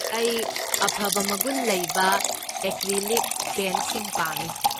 ꯑꯩ ꯑꯐꯕ ꯃꯒꯨꯟ ꯂꯩꯕ ꯑꯦꯀ꯭ꯔꯤꯂꯤꯛ ꯄꯦꯟꯠꯁꯤꯡ ꯄꯥꯝꯃꯤ꯫